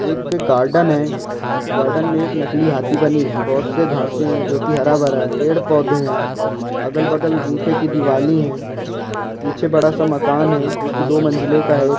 एक गार्डन है में एक नकली हाथी बनी है बहुत से घासे है जो हरा भरा है पेड़ पौधे है अगल बगल ईंटे की दीवाल है पीछे बड़ा सा मकान है जो की दो मंजिले का है।